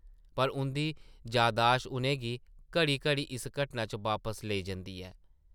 पर उंʼदी जादाशत उʼनें गी घड़ी-घड़ी इस घटना च वापस लेई जंदी ऐ ।